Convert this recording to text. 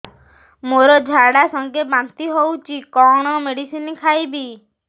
ମୋର ଝାଡା ସଂଗେ ବାନ୍ତି ହଉଚି କଣ ମେଡିସିନ ଖାଇବି